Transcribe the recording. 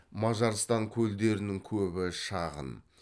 мажарстан көлдерінің көбі шағын